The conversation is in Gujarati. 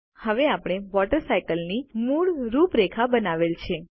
હવે આપણે વોટર સાયકલની મૂળ રૂપરેખા બનાવેલ છે